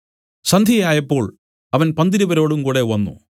സന്ധ്യയായപ്പോൾ അവൻ പന്തിരുവരോടും കൂടെ വന്നു